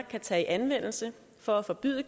kan tage i anvendelse for at forbyde